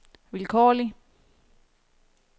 vilkårlig